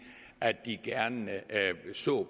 at de gerne så